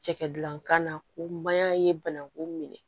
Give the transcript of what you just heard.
Cɛkɛdankan na ko mayan ye bananku minɛ